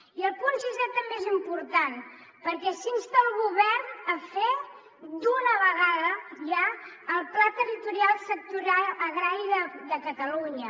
i el punt sisè també és important perquè s’insta el govern a fer d’una vegada ja el pla territorial sectorial agrari de catalunya